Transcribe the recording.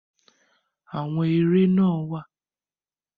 Àwọn eré náà wà.